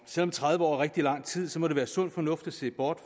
selv om tredive år er rigtig lang tid må det være sund fornuft at se bort